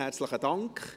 Herzlichen Dank.